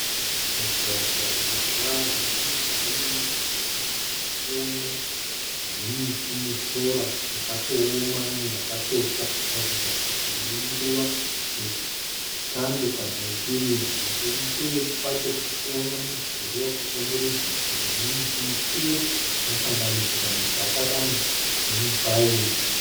Mugwagwa une tara nechemujinga memugwagwa uwu ndirikuona zvimiti nesora rakatooma rimwe rakatotsva kuratidza kuti inguva yechando kana yechirimo. Nekumberi kwacho tirikuona mudhurii wakakomberedza nzvimbo ine miti mikuru inosanganisira mijacaranda nemi pine.